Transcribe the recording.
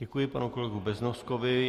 Děkuji panu kolegovi Beznoskovi.